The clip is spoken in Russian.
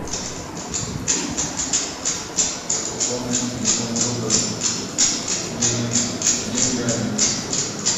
как пополнить телефон друга деньгами